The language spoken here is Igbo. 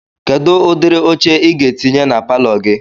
Kedu ụdịrị oche Ị ga-etinye na palọ gị?